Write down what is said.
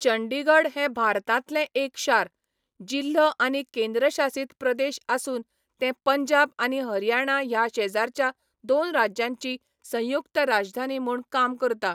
चंडीगढ हें भारतांतलें एक शार, जिल्हो आनी केंद्रशासित प्रदेश आसून तें पंजाब आनी हरियाणा ह्या शेजारच्या दोन राज्यांची संयुक्त राजधानी म्हूण काम करता.